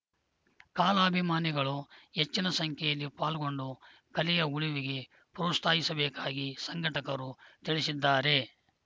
ಕಾಲಾಭಿಮಾನಿಗಳು ಹೆಚ್ಚಿನ ಸಂಖ್ಯೆಯಲ್ಲಿ ಪಾಲ್ಗೊಂಡು ಕಲೆಯ ಉಳುವಿಗೆ ಪ್ರೋಸ್ತಾಹಿಸಬೇಕಾಗಿ ಸಂಘಟಕರು ತಿಳಿಸಿದ್ದಾರೆ